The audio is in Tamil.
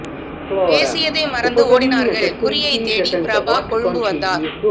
பேசியதை மறந்து ஓடினார்கள் குறியைத் தேடி பிரபா கொழும்பு வந்தார்